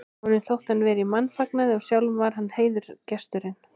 Honum þótti hann vera í mannfagnaði og sjálfur var hann heiðursgesturinn.